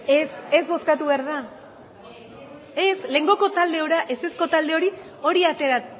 ez ez bozkatu behar da ez lehengoko talde ezezko talde hori hori atera